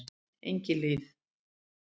Engihlíð